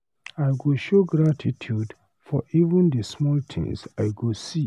I go show gratitude for even the small things I go see.